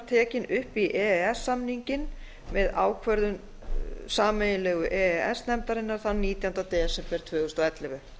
tekin upp í e e s samninginn með ákvörðun sameiginlegu e e s nefndarinnar þann nítjánda desember tvö þúsund og ellefu